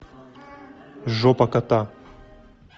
жопа кота